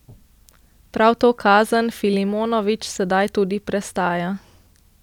Prav to kazen Filimonović sedaj tudi prestaja.